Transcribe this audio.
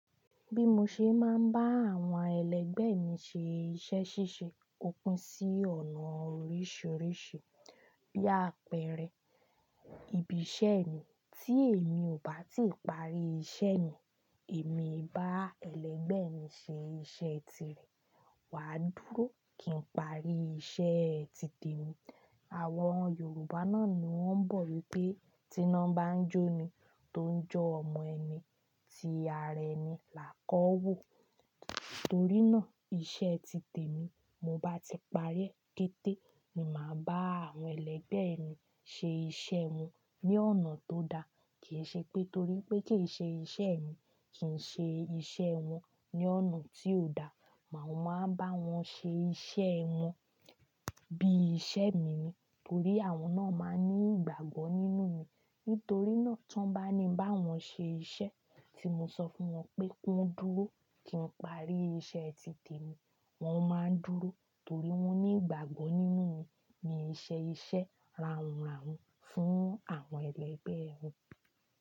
Bí mó ṣe máa ń bá àwọn ẹlẹgbẹ́ mi ṣe iṣẹ́ ṣíṣe, ó pín sí ọ̀nà oríṣiríṣi. Bí àpẹẹrẹ, ibi iṣẹ́ mi tí èmi ò bá ti parí iṣẹ́ mi, èmi bá ẹlẹgbẹ́ mi ṣe iṣẹ́ tirẹ̀, wàá dúró kí n parí iṣẹ́ ti tèmi. Àwọn Yorùbá náà ni wọ́n ń bọ̀ wípé "tiná bá ń jó ni tó ń jọ́ ọmọ ẹni." Tí ara ẹni là kọ́ wò. Nítorí náà, iṣẹ́ ti tèmi mo bá ti parí è kété ni màá bá àwọn ẹlẹgbẹ́ mi ṣe iṣẹ́ wọn ní ọ̀nà tó da. Kìí ṣe pé torí pé kìí ṣe iṣẹ́ mi kì ń ṣe iṣẹ́ wọn ní ọ̀nà tí ò da. Mọ máa bá wọn ṣe iṣẹ́ wọn bí iṣẹ́ mi ni. Torí àwọn náà máa ń ní ìgbàgbọ́ nínú mi. Nítorí náà, tí wọ́n bá ní ibá wọn ṣe iṣẹ́ tí mo sọ fún wọn pé kí wọ́n dúró kí n parí iṣẹ́ ti tèmi, wọ́n má ń dúró torí wọ́n ní ìgbàgbọ́ nínú mi, mi n ṣe iṣẹ́ raùn raùn fún àwọn ẹlẹgbẹ́ wọn.